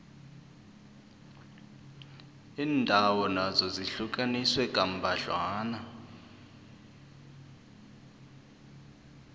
iindawo nazo zihlukaniswe kambadlwana